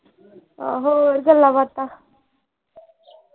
ਆਹੋ ਹੋਰ ਗੱਲਾਂ ਬਾਤਾਂ